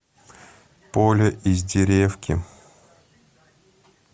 поле из деревки